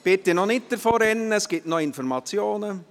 Bitte noch nicht davonrennen, es gibt noch Informationen.